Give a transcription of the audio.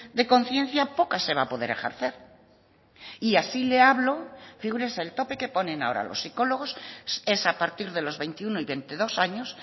de conciencia poca se va a poder ejercer y así le hablo figúrese el tope que ponen ahora los psicólogos es a partir de los veintiuno y veintidós años